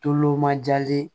Tulomajalen